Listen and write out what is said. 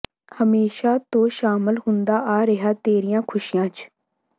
ਹਮੇਸ਼ਾਂ ਤੋਂ ਸ਼ਾਮਲ ਹੁੰਦਾ ਆ ਰਿਹਾ ਤੇਰੀਆਂ ਖੁਸ਼ੀਆਂ ਚ